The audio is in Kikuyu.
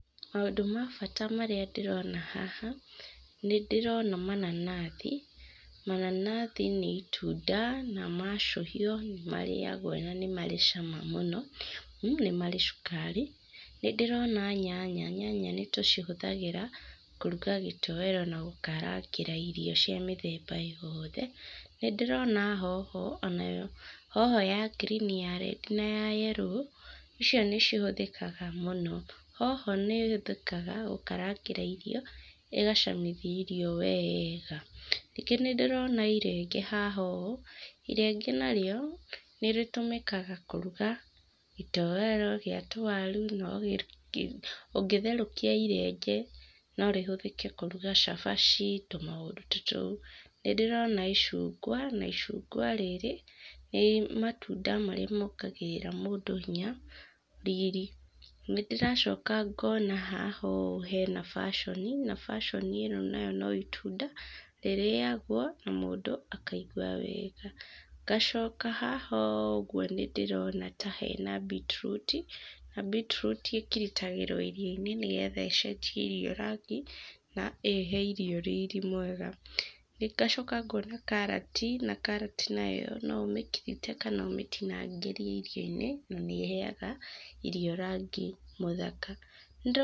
Maũndũ ma bata marĩa ndĩrona haha nĩ ndĩrona mananathi. Mananathi nĩ itunda na ma acũhio nĩ marĩagwo, na marĩ cama mũno, mmh nĩ marĩ cukari. Nĩ ndĩrona nyanya. Nyanya nĩ tũcihũthagĩra kũruga gĩtoero na gũkarangĩra irio cia mĩthemba yothe. Nĩ ndĩrona hoho o na yo, hoho ya ngirini, ya red, na ya yellow, icio nĩ cihũthĩkaga mũno. Hoho nĩ ĩhuthĩkaga gũkaranga irio, ĩgacamithia irio wega. Ningĩ nĩ ndĩrona irenge haha ũũ. Irenge narĩo nĩ rĩtũmĩkaga kũruga gĩtoero gĩa tũwaru, no kĩruge, ũngĩtherũkia irenge no rĩhũthĩke kũruga cabaci, tũmaũndũ ta tũu. Nĩ ndĩrona icungwa, na icungwa rĩrĩ nĩ matunda marĩa moongagĩrĩra mũndũ hinya, riri. Nĩ ndĩracoka ngoona haha ũũ hena passion, na passion ĩno nayo no itunda rĩrĩagwo na mũndũ akaigwa wega. Ngacoka haha ũũ ũguo nĩ ndĩrona ta hena beetroot, na beetroot ĩkiritagĩrwo irio-inĩ nĩgetha ĩcenjie irio rangi na ĩhee irio riri mwega. ĩ, ngacoka ngoona karati, na karati nayo no ũmekirite kana ũmetinangĩrie irio-inĩ, na ni ĩheaga irio rangi mũthaka. Nĩ ndĩrona-